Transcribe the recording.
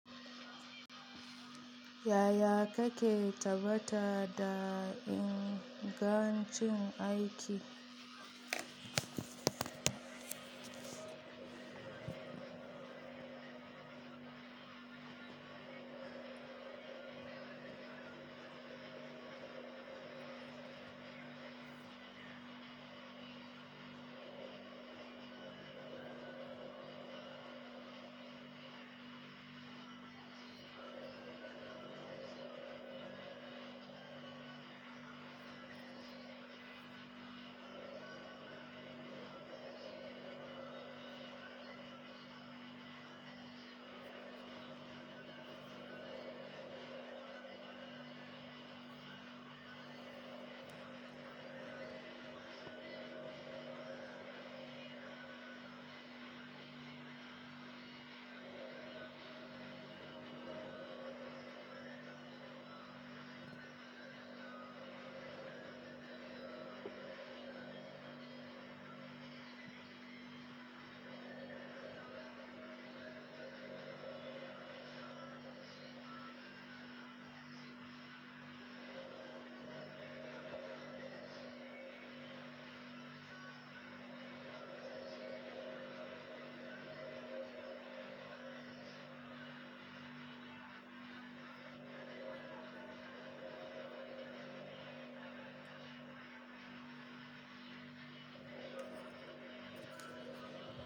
Yaya kake tabbata da ingancin aiki?